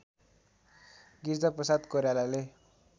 Girija Prasad कोइरालाले